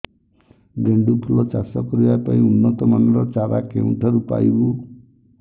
ଗେଣ୍ଡୁ ଫୁଲ ଚାଷ କରିବା ପାଇଁ ଉନ୍ନତ ମାନର ଚାରା କେଉଁଠାରୁ ପାଇବୁ